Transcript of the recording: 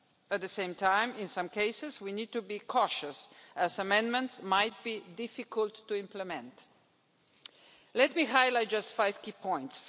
At the same time, in some cases we need to be cautious, as amendments might be difficult to implement. Let me highlight just five key points.